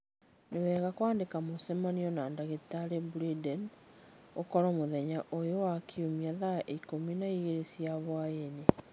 Nĩ wega kwandĩka mũcemanio na ndagĩtarĩ Branden ũkorũo mũthenya ũyũ wa Kiumia thaa ikũmi na igĩrĩ cia hwaĩ-inĩ